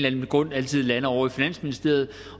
anden grund altid lander ovre i finansministeriet